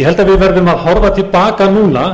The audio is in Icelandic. ég held að við verðum að horfa til baka núna